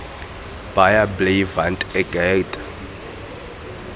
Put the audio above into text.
baie bly want ek het